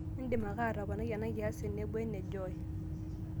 idim ake atoponai ena kias tenebo ene joy